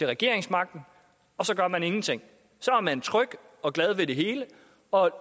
regeringsmagten og så gør man ingenting så er man tryg og glad ved det hele og